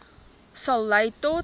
sal lei tot